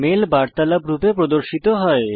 mail বার্তালাপ রূপে প্রদর্শিত হয়